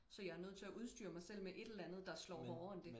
Så jeg er nødt til at udstyre mig selv med et eller andet der slå hårdere end det